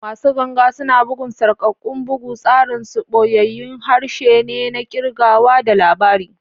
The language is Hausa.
Masu ganga suna bugun sarƙaƙƙun bugu, tsarin su ɓoyayyun harshe ne na kirgawa da labari.